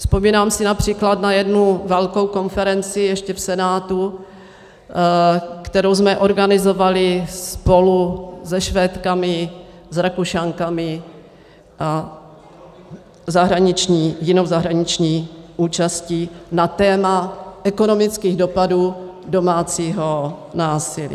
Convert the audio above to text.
Vzpomínám si například na jednu velkou konferenci ještě v Senátu, kterou jsme organizovali spolu se Švédkami, s Rakušankami a jinou zahraniční účastí na téma ekonomických dopadů domácího násilí.